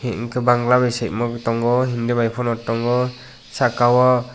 hingke bangla bai siymo tango hindi bai pono tango sakao.